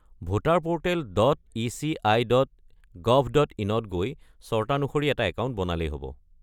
Voter portal dot ECI. Dot gov dot ইনত গৈ চৰ্তানুসৰি এটা একাউণ্ট বনালেই হ'ব।